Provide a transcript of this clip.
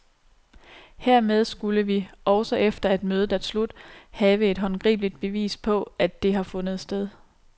Hermed skulle vi, også efter at mødet er slut, have et håndgribeligt bevis på, at det har fundet sted.